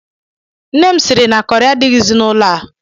Nne m si na kọrị adịghịzị n'ụlọ a.